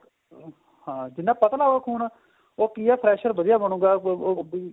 ਅਹ ਹਨ ਜਿੰਨਾ ਪਤਲਾ ਹੋਊਗਾ ਖੂਨ ਉਹ ਕੀ ਆ pressure ਵਧੀਆ ਬ੍ਣੁਗਾ ਉਹ ਅਹ